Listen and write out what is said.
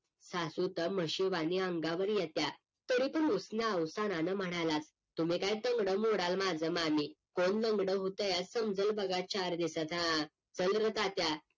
सासू तर म्हशीवानी अंगावर येतीया तरी बी उसन्या अवसानानं म्हणाला तुम्ही काय तंगड मोडाल माझं मामी कोण लंगडं होतया समजलं बघा चार दिवसाच्या आत हा चल र तात्या